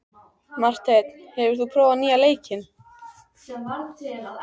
Marteinn, hefur þú prófað nýja leikinn?